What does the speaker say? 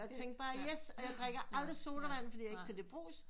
Og tænkte bare yes og jeg drikker aldrig sodavand fordi jeg ikke kan lige brus